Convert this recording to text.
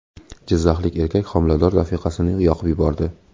Jizzaxlik erkak homilador rafiqasini yoqib yubordi.